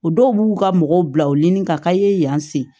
O dɔw b'u ka mɔgɔw bila u ɲini ka ka ye yan sen